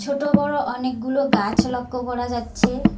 ছোট বড় অনেকগুলো গাছ লক্ষ্য করা যাচ্ছে।